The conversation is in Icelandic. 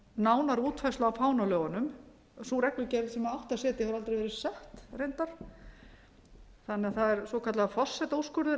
nánari útfærslu á fánalögunum sú reglugerð sem átti að setja hefur reyndar aldrei verið sett þannig að það er svokallaður forsetaúrskurður